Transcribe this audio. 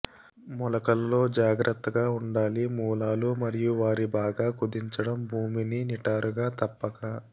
మొలకల లో జాగ్రత్తగా ఉండాలి మూలాలు మరియు వారి బాగా కుదించబడి భూమిని నిఠారుగా తప్పక